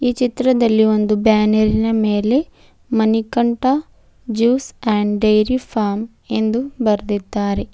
ಈ ಚಿತ್ರದಲ್ಲಿ ಒಂದು ಬ್ಯಾನರಿನ ಮೇಲೆ Manikanta juice and dairy farm ಎಂದು ಬರೆದಿದ್ದಾರೆ.